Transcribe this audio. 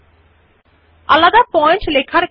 bullet ও সংখ্যায়ন যখন স্বতন্ত্র পয়েন্ট হবে লিখিত হয়